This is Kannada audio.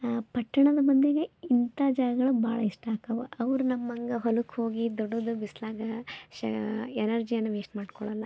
ಅಹ್ ಪಟ್ಟಣದ ಮಂದಿಗೆ ಇಂಥ ಜಾಗಗಳು ಬಹಳ ಇಷ್ಟ ಆಕವ ಅವ್ರು ನಮ್ ಹಂಗ ಹೋಳ್ಕ ಹೋಗಿ ದುಡಿದು ಬಿಸ್ಲಾಗಾ ಶೇ ಎನೆರ್ಜಿಯನ್ನ ವೇಶ್ಟ್ ಮಾಡ್ಕೊಳಲ್ಲ.